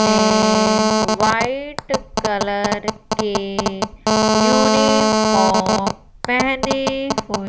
ने white colour के uniform पहने हुए--